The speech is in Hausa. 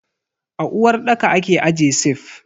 A uwarɗaka ake aje sif.